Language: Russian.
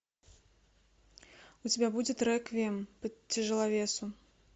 у тебя будет реквием по тяжеловесу